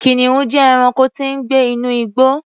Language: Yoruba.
Kìnìún jẹ́ ẹranko tí ń gbé inú igbó.